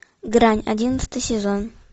грань одиннадцатый сезон